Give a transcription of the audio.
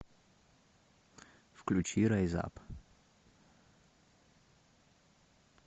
включи райз ап